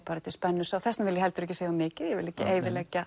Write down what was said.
þetta er spennusaga og þess vegna vil ég ekki segja of mikið ég vil ekki eyðileggja